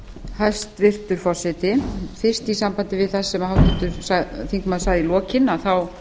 hæstvirtur forseti fyrst í sambandi við það sem háttvirtur þingmaður sagði í lokin þá